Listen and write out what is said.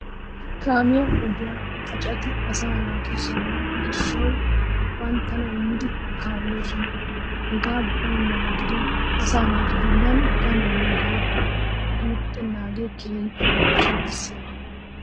Kaamiya ogiya xaaceti asa naatu saaruwa gishshawu banttana immidi kaalloosona. Hegee baynnaba gidikko asaa naatu bollan danuwanne daafaa guuttanaage keehippe barchiya bessiyaba.